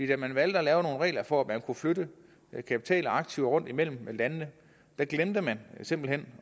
da man valgte at lave nogle regler for at man kunne flytte kapital og aktiver rundt imellem landene glemte man simpelt hen